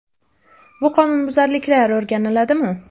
Bu qonunbuzarliklar o‘rganiladimi?